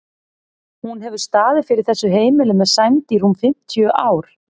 Hún hefur staðið fyrir þessu heimili með sæmd í rúm fimmtíu ár.